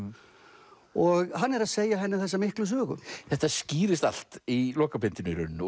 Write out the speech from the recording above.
og hann er að segja henni þessa miklu sögu þetta skýrist allt í lokabindinu í rauninni